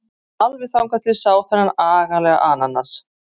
Alveg þangað til ég sá þennan agalega ananas.